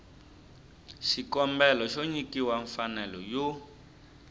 xikombelo xo nyikiwa mfanelo yo